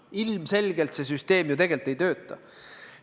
Ilmselgelt see süsteem tegelikult ei tööta.